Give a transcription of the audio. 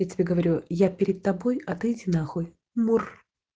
я тебе говорю я перед тобой а ты иди нахуй мур